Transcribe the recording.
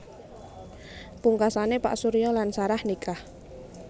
Pungkasané Pak Surya lan Sarah nikah